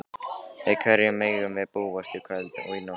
Við hverju megum við búast í kvöld og í nótt?